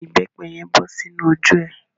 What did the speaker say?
Omi ìbẹ́pẹ́ yen bọ sínu ojú é.